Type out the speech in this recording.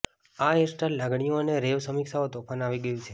આ હેરસ્ટાઇલ લાગણીઓ અને રેવ સમીક્ષાઓ તોફાન આવી ગયું છે